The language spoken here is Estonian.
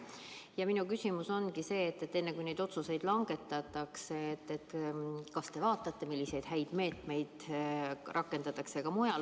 Ja minu küsimus ongi see, kas te enne, kui neid otsuseid langetate, ka vaatate, milliseid häid meetmeid rakendatakse mujal.